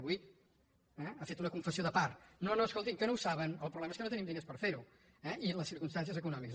i avui ha fet una confessió de part no no escoltin que no ho saben el problema és que no tenim diners per fer ho i les circumstàncies econòmiques